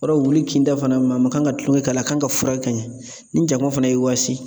Yɔrɔ wuli kinda fana maa man kan ka tulonkɛ k'a la a kan ka furakɛ ka ɲɛ ni jakuma fana y'i waasi